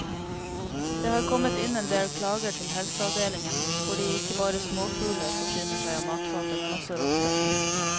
Det har kommet inn en del klager til helseavdelingen fordi ikke bare småfugler forsyner seg av matfatet, men også rotter.